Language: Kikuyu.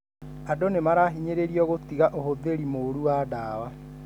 Andũ nĩmarahinyĩrĩrio gũtiga ũhũthĩri mũru wa dawa.